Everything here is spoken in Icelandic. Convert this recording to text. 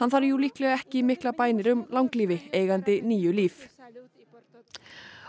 þarf jú líklega ekki miklar bænir um langlífi eigandi níu líf